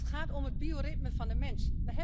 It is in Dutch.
Het gaat om het bioritme van de mens.